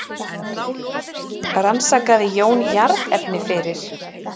Rannsakaði Jón jarðefni fyrir